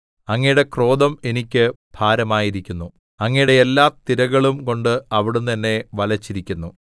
അങ്ങയുടെ ക്രോധം എനിക്ക് ഭാരമായിരിക്കുന്നു അങ്ങയുടെ എല്ലാ തിരകളുംകൊണ്ട് അവിടുന്ന് എന്നെ വലച്ചിരിക്കുന്നു സേലാ